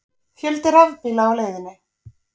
Fjöldi rafbíla á leiðinni